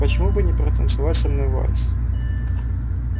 почему бы не протанцевать со мной вальс